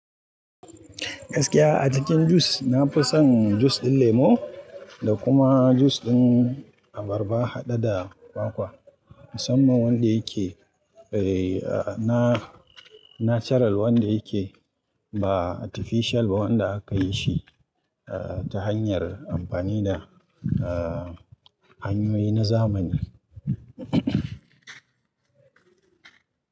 Gaskiya a jikin jus, na fi son jus ɗin lemo da kuma jus ɗin abarba haɗe da kwakwa. Musamman wanda yake, eh, na-natural wanda yake ba artificial ba wanda aka yi shi, eh, ta hanyar amfani da, eh, hanyoyi na zamani.